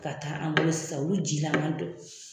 Ka taa an bolo sisan olu jilama don.